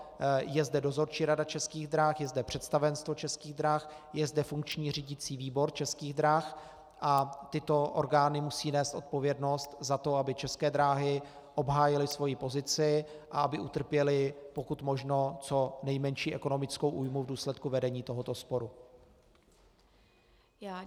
Je zde dozorčí rada Českých drah, je zde představenstvo Českých drah, je zde funkční řídicí výbor Českých drah a tyto orgány musí nést odpovědnost za to, aby České dráhy obhájily svoji pozici a aby utrpěly, pokud možno, co nejmenší ekonomickou újmu v důsledku vedení tohoto sporu.